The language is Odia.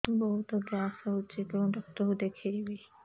ବହୁତ ଗ୍ୟାସ ହଉଛି କୋଉ ଡକ୍ଟର କୁ ଦେଖେଇବି